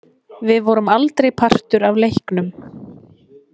Við vorum aldrei partur af leiknum.